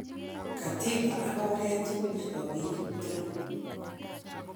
Katiba ak oret tugul chepo pik tugul.